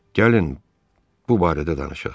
Gəlin bu barədə danışaq.